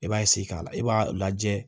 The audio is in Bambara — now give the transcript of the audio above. I b'a k'a la i b'a lajɛ